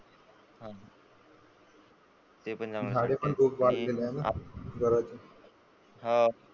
पण चांगलं आहे. ते झाडे पण खूप वाढलेले आहे ना, हा.